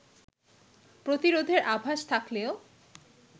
প্রতিরোধের আভাস থাকলেও